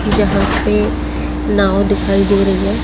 यहां पे नांव दिखाई दे रही है।